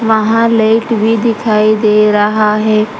वहां लाइट भी दिखाई दे रहा है।